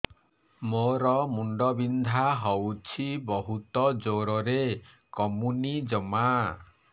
ମୋର ମୁଣ୍ଡ ବିନ୍ଧା ହଉଛି ବହୁତ ଜୋରରେ କମୁନି ଜମା